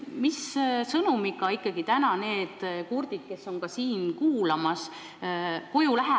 Mis sõnumiga need kurdid inimesed, kes on ka siin täna arutelu jälgimas, koju lähevad?